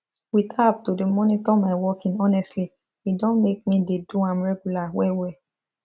with app to dey monitor my walking honestly e don make me dey do am regular well well